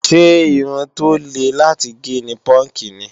Ṣé irun tó le láti gé ni púúnkì ni?